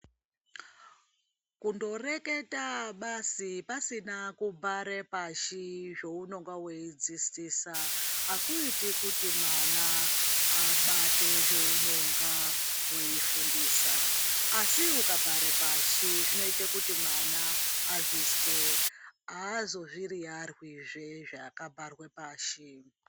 Kundoreketa basi pasina kubhare pashi zvounonga veidzidzisa akuiti kuti mwana abate zveunonga veifundisa. Asi ukabhare pashi zvinoite kuti mwana azvizwe hazo zviyiyarwizve zvakabharwe pashi.